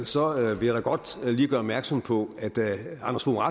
så vil jeg da godt lige gøre opmærksom på at da anders fogh